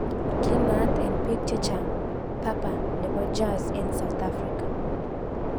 Kinaat eng piik chechang "Papa nepo Jazz eng South Afrka.